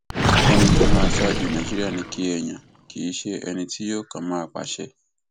ẹni tó máa ṣáájú nàìjíríà ni kẹ ẹ yàn kì í ṣe ẹni tí yóò kàn máa pàṣẹ